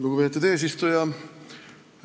Lugupeetud eesistuja!